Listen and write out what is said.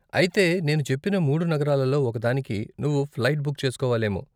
అయితే నేను చెప్పిన మూడు నగరాలలో ఒకదానికి నువ్వు ఫ్లైట్ బుక్ చేస్కోవాలేమో.